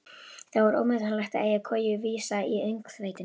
Það var ómetanlegt að eiga koju vísa í öngþveitinu.